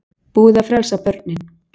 Búið að frelsa börnin